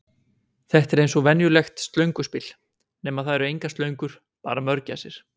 Þetta er eins og venjulegt Slönguspil, nema það eru engar slöngur, bara mörgæsir.